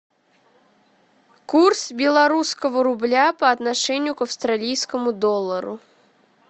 курс белорусского рубля по отношению к австралийскому доллару